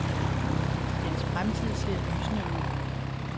Dens fremtid ser lysende ud.